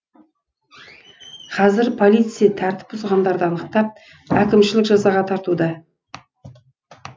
қазір полиция тәртіп бұзғандарды анықтап әкімшілік жазаға тартуда